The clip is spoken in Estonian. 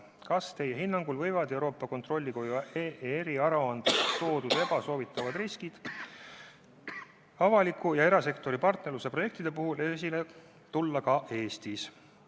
Kas Teie hinnangul võivad Euroopa Kontrollikoja eriaruandes toodud ebasoovitavad riskid avaliku ja erasektori partnerluse projektide puhul esile tulla ka Eestis?